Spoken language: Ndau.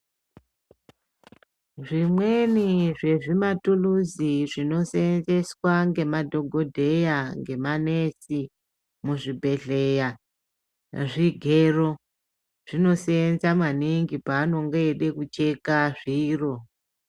Zvimweni zvezvimatukuzi zvinosenzeswa ngemadhokodheya ngemanesi muzvibhedleya zvigero zvinosenza maningi Pavanenge veide kucheka zviro .